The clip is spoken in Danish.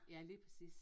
Ja lige præcis